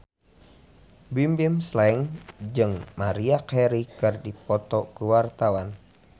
Bimbim Slank jeung Maria Carey keur dipoto ku wartawan